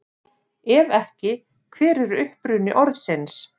Ef ekki, hver er uppruni orðsins?